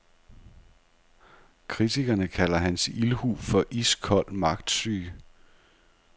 Kritikerne kalder hans ildhu for iskold magtsyge.